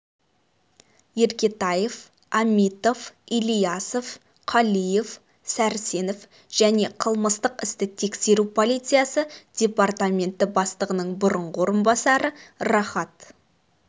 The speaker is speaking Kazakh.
еркетаев амитов ильясов калиев сарсенов және қылмыстық істі тексеру полициясы департаменті бастығының бұрынғы орынбасары рахат